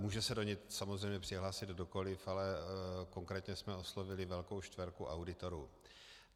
Může se do něj samozřejmě přihlásit kdokoliv, ale konkrétně jsme oslovili velkou čtverku auditorů.